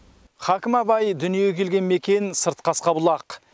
хакім абай дүниеге келген мекен сырт қасқабұлақ